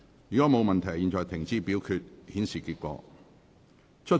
如果沒有問題，現在停止表決，顯示結果。